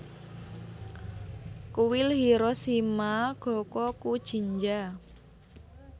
Kuil Hiroshima Gokokujinja